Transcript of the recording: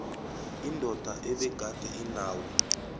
indoda ebegade inawo